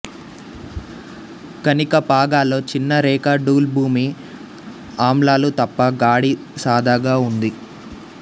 కణిక పాగాలో చిన్న రేఖా డూల్ భూమి ఆమ్లాలు తప్ప గాడి సాదాగా ఉండి